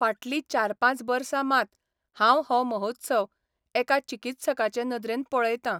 फाटलीं चार पांच बर्सा मात हांव हो महोत्सव एका चिकित्सकाचे नदरेन पळयतां.